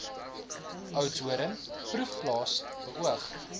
oudtshoorn proefplaas beoog